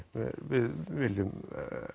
viljum